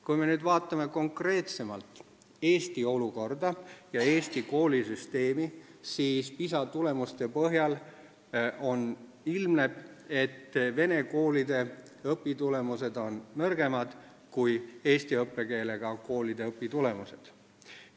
Kui me nüüd vaatame konkreetsemalt Eesti olukorda ja Eesti koolisüsteemi, siis PISA tulemuste põhjal ilmneb, et vene koolides on õpitulemused nõrgemad kui eesti õppekeelega koolides.